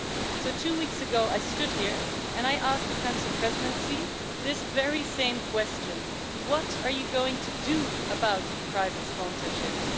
So two weeks ago, I stood here and I asked the Council Presidency this very same question what are you going to do about private sponsorships?